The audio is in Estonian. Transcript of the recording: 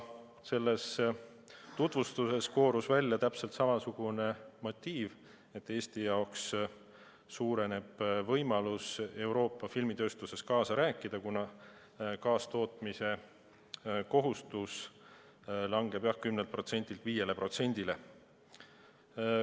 Sellest tutvustusest koorus välja täpselt samasugune motiiv, et see eelnõu suurendab Eesti võimalust Euroopa filmitööstuses kaasa rääkida, kuna kaastootmise kohustus langeb 10%-lt 5%-le.